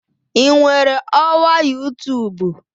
Ị nwere ọwa youtube?